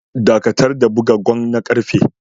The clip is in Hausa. Dakatar da buga gong na karfe.